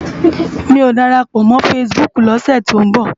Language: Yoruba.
Mi ó ni dárápò mò fãsibúk lòsè tó n bò